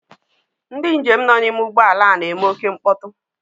Ndị njem nọ n'ime ụgbọala a na-eme oké mkpọtụ.